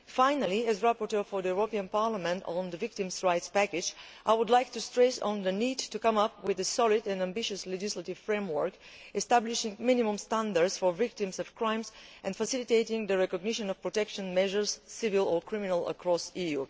Finally, as rapporteur for the European Parliament on the Victims' Rights Package, I would like to stress the need to draw up a solid and ambitious legislative framework establishing minimum standards for victims of crimes and facilitating the recognition of protection measures civil or criminal across the EU.